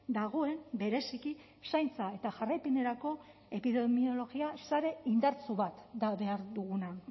dagoen bereziki zaintza eta jarraipenerako epidemiologia sare indartsu bat da behar duguna